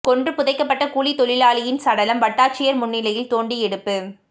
கொன்று புதைக்கப்பட்ட கூலி தொழிலாளியின் சடலம் வட்டாட்சியா் முன்னிலையில் தோண்டி எடுப்பு